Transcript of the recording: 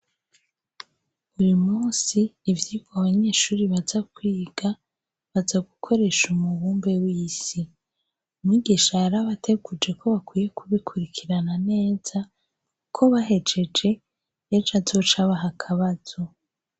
Uyu munsi ivyirwa abanyeshuri bajakwiga baza gukoresha umubumbe w'isi umwigisha yarabateguje ko bakwiye kubikurikirana neza uko bahejeje azoca abaha akabazo.